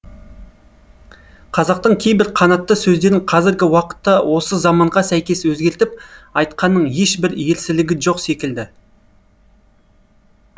қазақтың кейбір қанатты сөздерін қазіргі уақытта осы заманға сәйкес өзгертіп айтқанның ешбір ерсілігі жоқ секілді